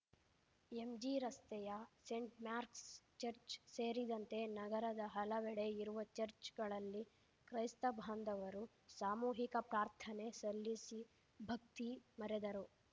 ಎಂಜಿರಸ್ತೆಯ Saint Mark's church ಸೇರಿದಂತೆ ನಗರದ ಹಲವೆಡೆ ಇರುವ ಚಚ್‌ರ್‍ಗಳಲ್ಲಿ ಕ್ರೈಸ್ತ ಬಾಂಧವರು ಸಾಮೂಹಿಕ ಪ್ರಾರ್ಥನೆ ಸಲ್ಲಿಸಿ ಭಕ್ತಿ ಮರೆದರು